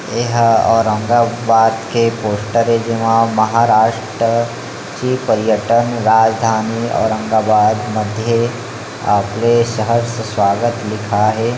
यहां औरंगाबाद के पोस्टर है जेमा महाराष्ट्र की पर्यटन राजधानी औरंगाबाद मध्य आपले सहर्ष स्वागत लिखाए हे।